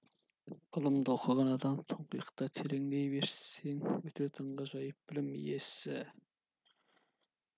ғылымды оқыған адам тұңғиықтай тереңдей берсең өте таңғажайып білім иесі